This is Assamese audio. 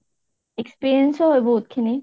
experience উ হয় বাহুত খিনি